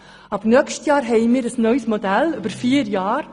Ab nächstem Jahr haben wir ein neues Modell über vier Jahre.